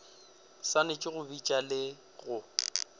swanetše go bitša le go